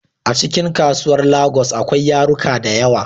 Acikin kasuwar lagos akwai yaruka dayawa